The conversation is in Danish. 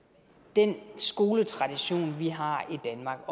den skoletradition vi har i danmark